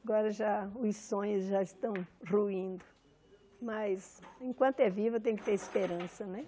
Agora já os sonhos já estão ruindo, mas enquanto é viva tem que ter esperança, né?